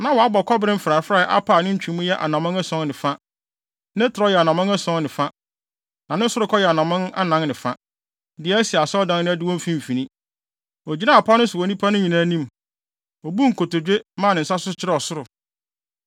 Na wabɔ kɔbere mfrafrae apa a ne ntwemu yɛ anammɔn ason ne fa, ne trɛw yɛ anammɔn ason ne fa, na ne sorokɔ yɛ anammɔn anan ne fa, de asi asɔredan no adiwo mfimfini. Ogyinaa apa no so wɔ nnipa no nyinaa anim. Obuu nkotodwe, maa ne nsa so kyerɛɛ ɔsoro.